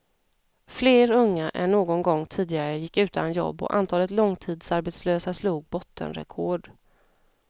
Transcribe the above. Fler unga än någon gång tidigare gick utan jobb och antalet långtidsarbetslösa slog bottenrekord.